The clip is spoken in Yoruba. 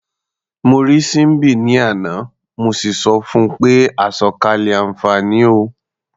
Mo rí Síḿbì ní àná, mo sì sọ fun pé "àsọ̀kalẹ̀ àǹfààní o".